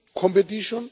competition